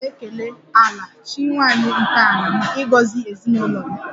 Ana m ekele 'Ala' chi nwanyị nke ala maka ịgọzi ezinụlọ m